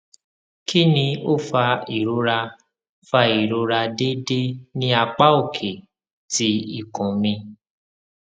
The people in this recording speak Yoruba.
kini o fa irora fa irora deede ni apa oke ti ikun mi